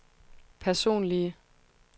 personlige